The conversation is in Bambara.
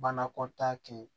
Banakɔtaa kɛ yen